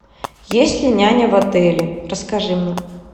есть ли няня в отеле расскажи мне